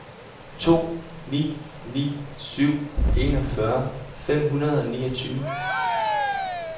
to ni ni syv enogfyrre fem hundrede og niogtyve